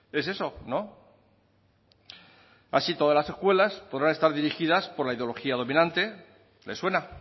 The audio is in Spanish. es eso no así todas las escuelas podrán estar dirigidas por la ideología dominante les suena